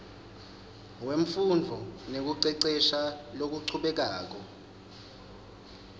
wemfundvo nekucecesha lokuchubekako